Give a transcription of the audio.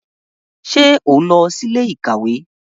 Ṣe o nlọ si ilé-íkàwe?